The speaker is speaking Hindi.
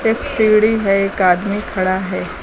एक सीढी है एक आदमी खड़ा है।